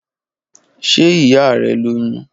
Ṣe iya rẹ loyun?